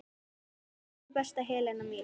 Elsku besta Helena mín.